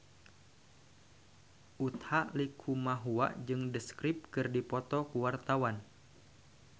Utha Likumahua jeung The Script keur dipoto ku wartawan